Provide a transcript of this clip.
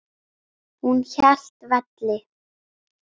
Hún hélt velli.